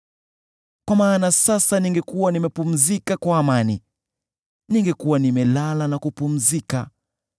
Kwa maana sasa ningekuwa nimepumzika kwa amani. Ningekuwa nimelala na kupumzika